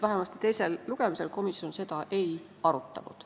Vähemasti enne teist lugemist komisjon seda ei arutanud.